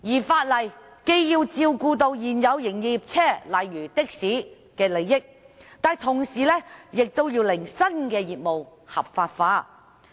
法例既要照顧現有營業車輛的相關人士，例如的士司機的利益，同時亦要令新業務合法化。